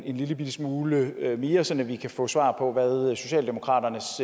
en lillebitte smule det er mere så vi kan få svar på hvad socialdemokratiets